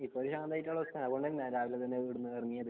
ഇപ്പം കുറച്ചു ശാന്തമായിട്ടാണ് ഉള്ളത് അതുകൊണ്ടാണ് രാവിലെന്നെ ഇവിടുന്നു ഇറങ്ങിയത്